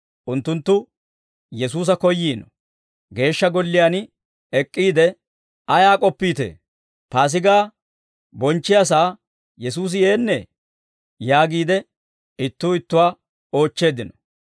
Unttunttu Yesuusa koyyiino; Geeshsha Golliyaan ek'k'iide, «Ayaa k'oppiitee? Paasigaa bonchchiyaasaa Yesuusi yeennee?» yaagiide ittuu ittuwaa oochcheeddino.